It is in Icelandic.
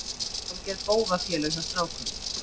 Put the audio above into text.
Hálfgerð bófafélög hjá strákunum.